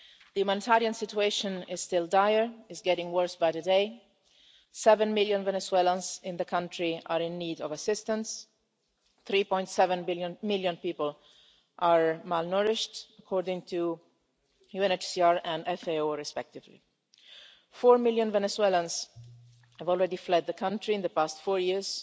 The humanitarian situation is still dire, it is getting worse by the day. Seven million Venezuelans in the country are in need of assistance and 3.7 million people are malnourished, according to UNHCR and FAO respectively. Four million Venezuelans have already fled the country in the past four years,